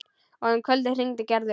Og um kvöldið hringdi Gerður.